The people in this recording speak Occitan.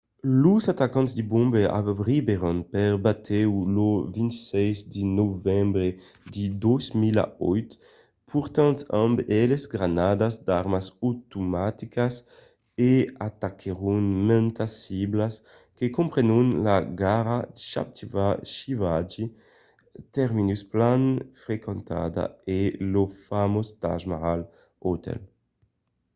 los atacants de bombai arribèron per batèu lo 26 de novembre de 2008 portant amb eles de granadas d'armas automaticas e ataquèron mantas ciblas que comprenon la gara chhatrapati shivaji terminus plan frequentada e lo famós taj mahal hotel